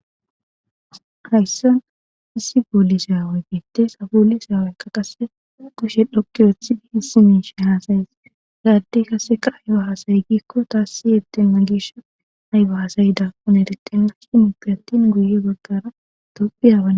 hayssan issi booliseawey bitte sabuoli saaweykka qasse kushe dhokki woothi di hisi miishe haasayes gaaddey kaseka ayo haasaye giikko taassi yetemna giisha ayba hasayida pune diqqemer shi mupi attin guye baggara topphi yaban